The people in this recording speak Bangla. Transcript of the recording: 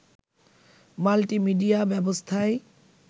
মাল্টিমিডিয়া ব্যবস্থায়